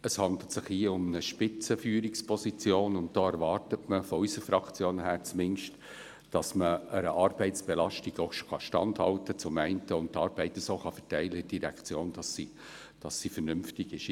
Es handelt sich hier um eine Spitzenführungsposition, und da erwartet man von unserer Fraktion her zumindest, dass man einer Arbeitsbelastung zum einen standhalten und zum andern die Arbeit in der Direktion so verteilen kann, dass sie vernünftig ist.